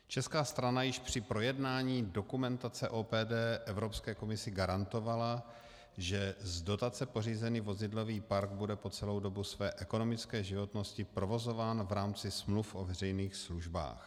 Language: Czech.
Česká strana již při projednávání dokumentace OPD Evropské komisi garantovala, že z dotace pořízený vozidlový park bude po celou dobu své ekonomické životnosti provozován v rámci smluv o veřejných službách.